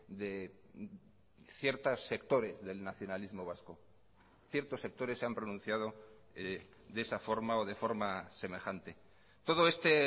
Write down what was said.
de ciertos sectores del nacionalismo vasco ciertos sectores se han pronunciado de esa forma o de forma semejante todo este